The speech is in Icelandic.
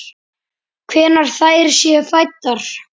Hvenær þær séu fæddar!